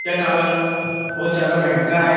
यह टावर बहुत ज्यादा महँगा है।